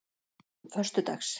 föstudags